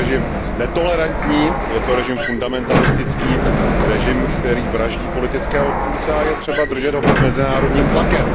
Je to režim netolerantní, je to režim fundamentalistický, režim, který vraždí politické odpůrce, a je třeba držet ho pod mezinárodním tlakem.